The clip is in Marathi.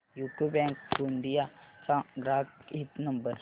यूको बँक गोंदिया चा ग्राहक हित नंबर